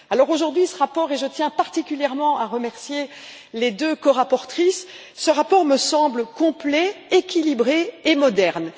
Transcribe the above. Aujourd'hui, ce rapport et je tiens particulièrement à remercier les deux corapporteures me semble complet, équilibré et moderne.